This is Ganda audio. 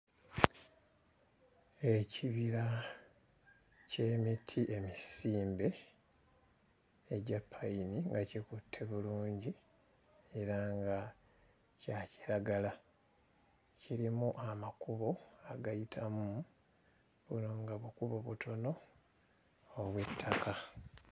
Ekibira ky'emiti emisimbe egya ppayini nga kikutte bulungi era nga kya kiragala, kirimu amakubo agayitamu era nga bukubo butono obw'ettaka.